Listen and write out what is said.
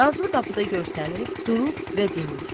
Nazlı qapıda görünüb durub və dinmir.